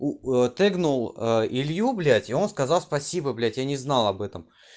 у ээ тэгнул илью и он сказал спасибо блять я не знал об этом